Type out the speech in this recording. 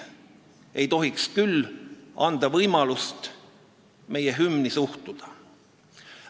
Ei tohiks anda võimalust meie hümni sellisel viisil suhtuda.